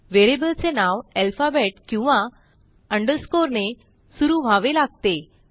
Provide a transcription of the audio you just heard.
व्हेरिएबलचे नाव अल्फाबेट किंवा अंडरस्कोर ने सुरू व्हावे लागते